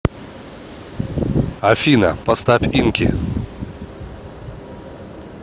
афина поставь инки